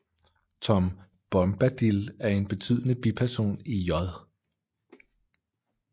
Tom Bombadil er en betydende biperson i J